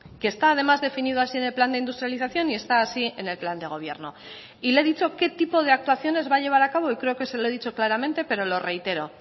que está además definido así en el plan de industrialización y está así en el plan de gobierno y le he dicho qué tipo de actuaciones va a llevar a cabo y creo que se lo he dicho claramente pero lo reitero